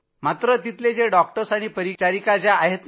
परंतु तिथले डॉक्टर्स आणि परिचारिका ज्या आहेत